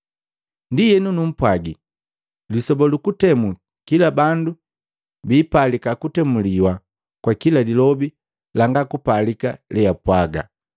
“Ndienu numpwagi lisoba lu kutemu kila bandu biipalika kutemuliwa kwa kila lilobi langa kupalika leapwaga.”